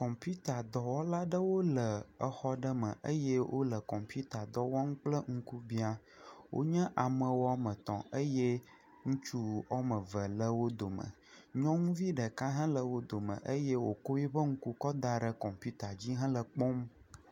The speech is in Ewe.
Kɔmpitadɔwla aɖewo le xɔ aɖe me eye wo le kɔmpita dɔ wɔm kple ŋkubia. Wo nye ame wɔme etɔ̃ eye ŋutsu wɔme eve le wo dome. Nyɔnuvi ɖeka hã le wo dome eye wokɔ eƒe ŋku kɔ da ɖe kɔmpita dzi hele ekpɔm.